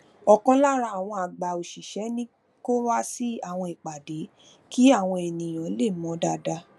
òkan lára àwọn àgbà òṣìṣẹ ní kó wá sí àwọn ìpàdé kí awọn eniyan lè mò ón dáadáa